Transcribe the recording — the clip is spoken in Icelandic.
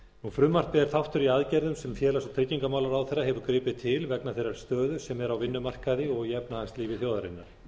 frumvarpið er þáttur í aðgerðum sem félags og tryggingamálaráðherra hefur gripið til vegna þeirrar stöðu sem er á vinnumarkaði og í efnahagslífi þjóðarinnar